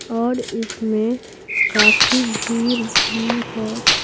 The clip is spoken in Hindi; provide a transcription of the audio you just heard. और इसमें काफी भीड़ भी है।